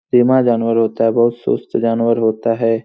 धीमा जानवर होता है बहुत सुस्त जानवर होता है।